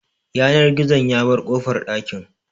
Yanar gizon ya bar kofar ɗakin